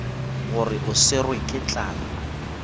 gore o swerwe ke tlala